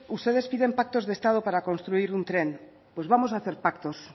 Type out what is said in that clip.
ustedes piden pactos de estado para construir un tren pues vamos a hacer pactos